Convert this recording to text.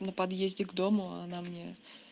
на подъезде к дому она мне